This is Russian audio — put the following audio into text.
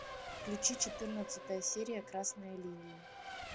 включи четырнадцатая серия красная линия